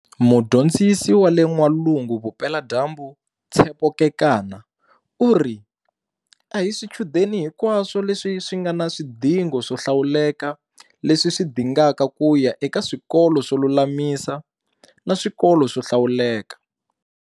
Mudyondzisi wa le N'walungu-Vupeladyambu Tshepo Kekana u ri, A hi swichudeni hinkwaswo leswi swi nga na swidingo swo hlawuleka leswi swi dingaka ku ya eka swikolo swo lulamisa na swikolo swo hlawuleka.